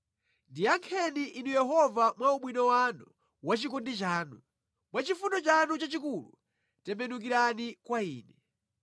Ndiyankheni Inu Yehova mwa ubwino wanu wa chikondi chanu; mwa chifundo chanu chachikulu tembenukirani kwa ine.